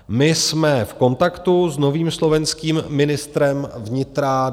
My jsme v kontaktu s novým slovenským ministrem vnitra.